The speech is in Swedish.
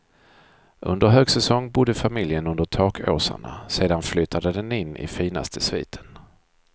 Under högsäsong bodde familjen under takåsarna, sedan flyttade den in i finaste sviten.